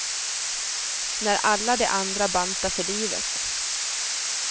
När alla de andra bantar för livet.